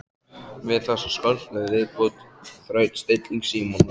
Við þessa skáldlegu viðbót þraut stilling Símonar.